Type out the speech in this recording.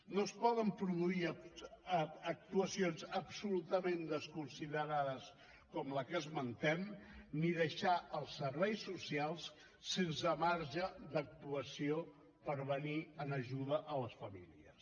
no es poden produir actuacions absolutament desconsiderades com la que esmentem ni deixar els serveis socials sense marge d’actuació per venir en ajuda a les famílies